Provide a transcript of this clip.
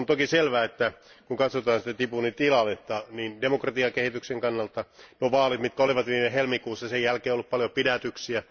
On toki selvää, että kun katsotaan Djiboutin tilannetta, niin demokratiakehityksen kannalta nuo vaalit, mitkä olivat viime helmikuussa, sen jälkeen on ollut paljon pidätyksiä.